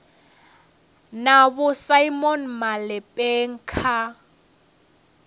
na vho simon malepeng kha